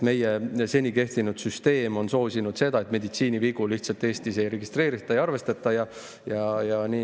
Meie seni kehtinud süsteem on soosinud seda, et meditsiinivigu Eestis lihtsalt ei registreerita, ei arvestata.